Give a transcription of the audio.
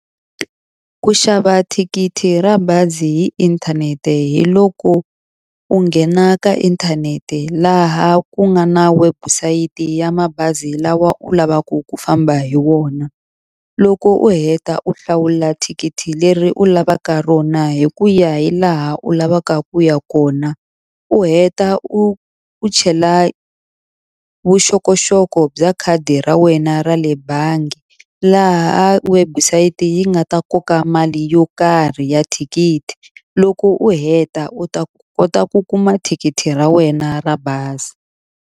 Ku xava thikithi ra bazi hi inthanete hi loko u nghena ka inthanete, laha ku nga na website ya mabazi lawa u lavaka ku famba hi wona. Loko u heta u hlawula thikithi leri u lavaka rona hi ku ya hi laha u lavaka ku ya kona. U heta u u chela vuxokoxoko bya khadi ra wena ra le bangi, laha website yi nga ta koka mali yo karhi ya thikithi. Loko u heta u ta kota ku kuma thikithi ra wena ra bazi.